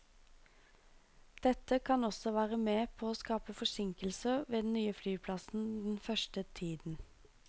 Dette kan også være med på å skape forsinkelser ved den nye flyplassen den første tiden.